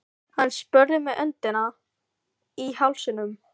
Hann spurði með öndina í hálsinum.